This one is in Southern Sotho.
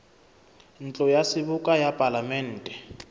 ntlo ya seboka ya palamente